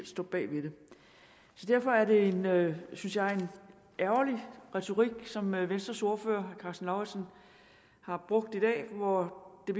står bag det derfor er det synes jeg ærgerlig retorik som venstres ordfører herre karsten lauritzen har brugt i dag hvor det